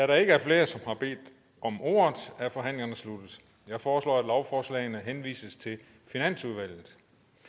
der ikke er flere som har bedt om ordet er forhandlingen sluttet jeg foreslår at lovforslagene henvises til finansudvalget